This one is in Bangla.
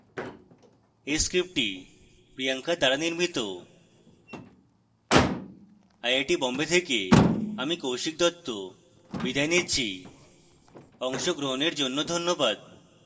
এই script priyanka দ্বারা নির্মিত